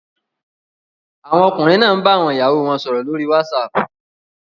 Àwọn ọkùnrin náà ń bá àwọn ìyàwó wọn sọ̀rọ̀ lórí Whatsapp